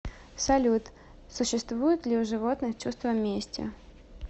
салют существует ли у животных чувство мести